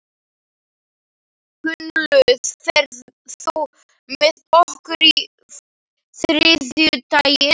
Gunnlöð, ferð þú með okkur á þriðjudaginn?